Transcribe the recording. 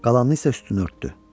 Qalanını isə üstünü örtdü.